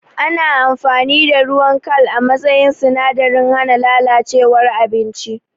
Ana amfani da ruwan kal a matsayin sinadarin hana lalacewar abinci